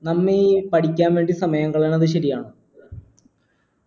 നന്ദി പഠിക്കാൻ വേണ്ടി സമയം കളയുന്നത് ശരിയാണോ